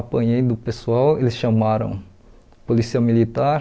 Apanhei do pessoal, eles chamaram a polícia militar.